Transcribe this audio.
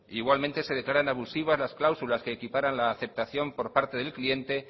igualmente se declaran abusivas las cláusulas que equiparan la aceptación por parte del cliente